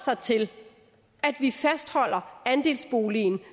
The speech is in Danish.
sig til at vi fastholder andelsboligen